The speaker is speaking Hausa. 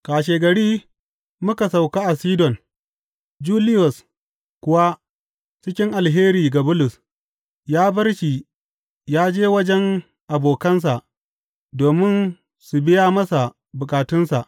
Kashegari muka sauka a Sidon; Juliyos kuwa, cikin alheri ga Bulus, ya bar shi yă je wajen abokansa domin su biya masa bukatunsa.